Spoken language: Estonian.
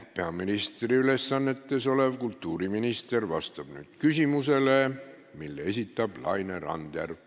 Peaministri ülesannetes olev kultuuriminister vastab nüüd küsimusele, mille esitab Laine Randjärv.